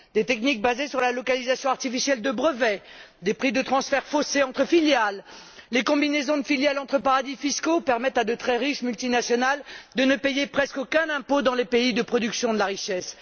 Des techniques basées sur la localisation artificielle de brevets, des prix de transfert faussés entre filiales, les combinaisons de filiales entre paradis fiscaux permettent à de très riches multinationales de ne payer presque aucun impôt dans les pays de production de la richesse.